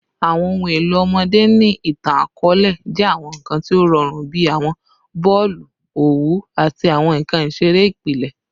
Awọn ohun elo ọmọde ni itan-akọọlẹ jẹ awọn nkan ti o rọrun bi awọn boolu owu ati awọn nkan isere ipilẹ